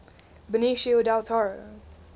benicio del toro